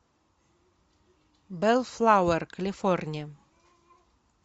беллфлауэр калифорния